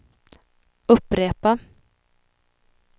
upprepa